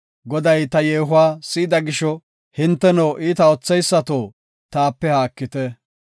Goday ta yeehuwa si7ida gisho, hinteno, iita ootheysato taape haakite.